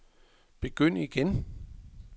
begynd igen